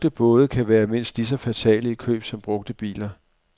Brugte både kan være mindst lige så fatale i køb som brugte biler.